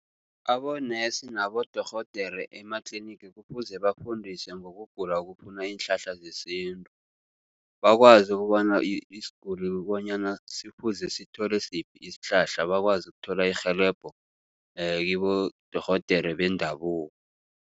Abonesi nabodorhodere ematlinigi kufuze bafundiswe ngokugula okufuna iinhlahla zesintu. Bakwazi ukobana isiguli bonyana kufuze sithole siphi isihlahla bakwazi ukuthola irhelebho kibodorhodere bendabuko.